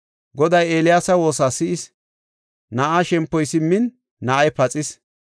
Goday Eeliyaasa woosa si7is. Na7aa shempoy simmin, na7ay paxis.